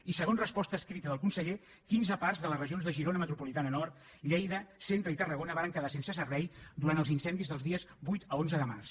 i segons resposta escrita del conseller quinze parcs de les regions de girona metropolitana nord lleida centre i tarragona varen quedar sense servei durant els incendis dels dies vuit a onze de març